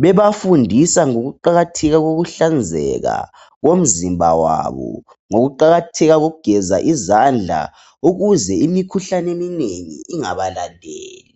bebafundisa ngokuqakatheka kokuhlanzeka komzimba wabo ngokuqakatheka kokugeza izandla ukuze imikhuhlane eminengi ingabalandeli